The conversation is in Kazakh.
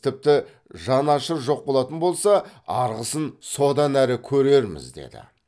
тіпті жан ашыр жоқ болатын болса арғысын содан әрі көрерміз деді